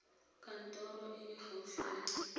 kantorong e e gaufi ya